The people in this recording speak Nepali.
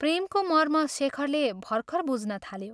प्रेमको मर्म शेखरले भर्खर बुझ्न थाल्यो।